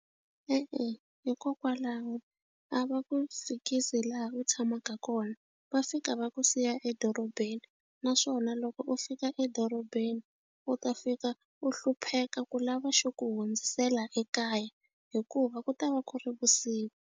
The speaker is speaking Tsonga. E-e, hikokwalaho a va ku fikisi laha u tshamaka kona va fika va ku siya edorobeni naswona loko u fika edorobeni u ta fika u hlupheka ku lava xo ku hundzisela ekaya hikuva ku ta va ku ri vusiku.